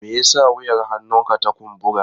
Me yasa wuyar hannunka ta kumbura?